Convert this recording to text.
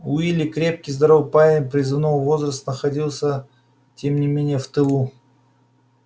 уилли крепкий здоровый парень призывного возраста находился тем не менее в тылу